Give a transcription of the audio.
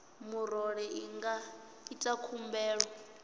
murole i nga ita khumbelo